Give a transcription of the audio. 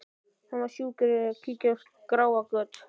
Hann var sjúkur í að kíkja á skráargöt.